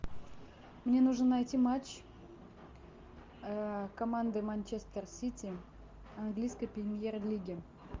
мне нужно найти матч команды манчестер сити английской премьер лиги